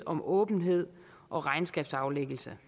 om åbenhed og regnskabsaflæggelse